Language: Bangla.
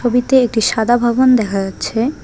ছবিতে একটি সাদা ভবন দেখা যাচ্ছে।